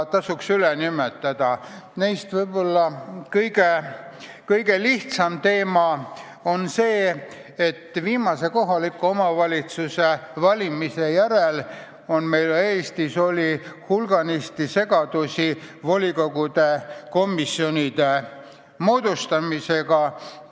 Neist võib-olla kõige lihtsam on see, et viimaste kohalike omavalitsuste valimiste järel oli Eestis hulganisti segadusi volikogude komisjonide moodustamisega.